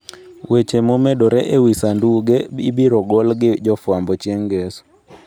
Weche momedore e wi sanduge ibiro gol gi jofwambo chieng ' ngeso.